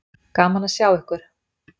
Gaman að sjá ykkur.